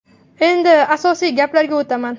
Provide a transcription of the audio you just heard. Endi asosiy gaplarga o‘taman.